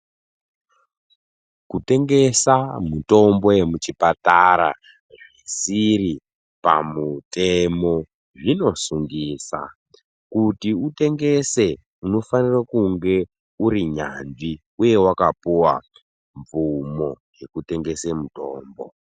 Kutengesa mitombo yemuchipatara zvisiri pamutemo zvinosungisa kuti kutengesa unafanika uri nyanzvi uye wakapuwa mvumo utengese mitombo.